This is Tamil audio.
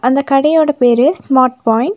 அந்த கடையோட பேரு ஸ்மார்ட் பாயின்ட் .